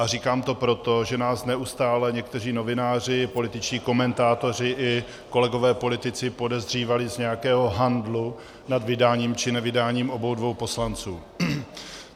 A říkám to proto, že nás neustále někteří novináři, političtí komentátoři i kolegové politici podezírali z nějakého handlu nad vydáním či nevydáním obou dvou poslanců.